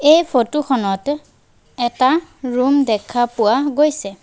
এই ফটো খনত এটা ৰুম দেখা পোৱা গৈছে।